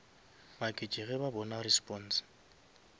maketše ge ba bona response